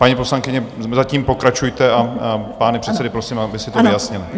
Paní poslankyně, zatím pokračujte a pány předsedy prosím, aby si to vyjasnili.